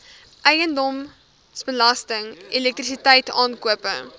eiendomsbelasting elektrisiteit aankope